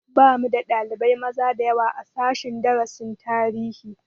Bamu da ɗalibai maza dayawa a sashen darasin tarihi